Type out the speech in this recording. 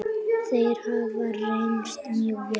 Þeir hafa reynst mjög vel.